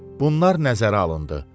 Bunlar nəzərə alındı.